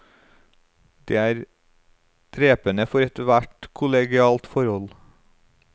Det er drepende for et hvert kollegialt forhold.